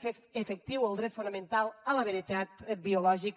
fer efectiu el dret fonamental a la veritat biològica